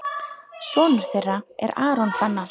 Sonur þeirra er Aron Fannar.